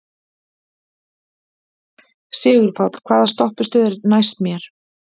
Sigurpáll, hvaða stoppistöð er næst mér?